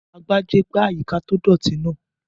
Agbájé gbá àyíká tó dọ̀ọ̀tì náà